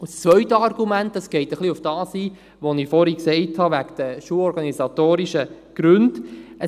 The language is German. Zum anderen geht das zweite Argument ein bisschen auf das ein, was ich vorhin in Bezug auf die schulorganisatorischen Gründe gesagt habe: